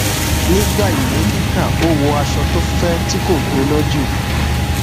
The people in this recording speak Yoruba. nígbà ìwé kíkà ó wọ aṣọ tó fẹ tí kò gbóná jù